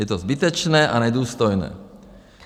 Je to zbytečné a nedůstojné.